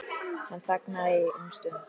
Hann þagnaði um stund.